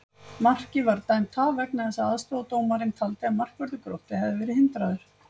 Markið var dæmt af vegna þess að aðstoðardómarinn taldi að markvörður Gróttu hefði verið hindraður!